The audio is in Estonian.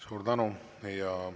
Suur tänu!